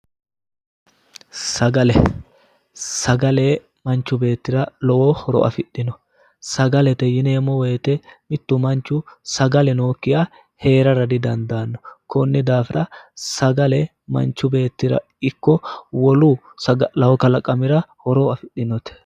Sagale, sagale manchu beetira lowo horo afidhino sagalete yi eemmo woyte mittu manchu sagale nookkiha hee'rara didandaanno konni daafira sagale manchi beettira ikko saga'lawo kalaqamira horo afidhinote